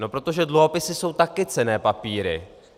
No protože dluhopisy jsou také cenné papíry.